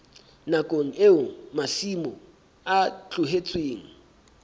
nakong eo masimo a tlohetsweng